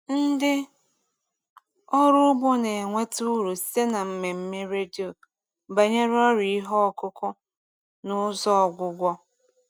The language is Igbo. Ndị ọrụ ugbo na-enweta uru site na mmemme redio banyere ọrịa ihe ọkụkụ na ụzọ ọgwụgwọ.